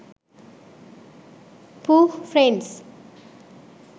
pooh friends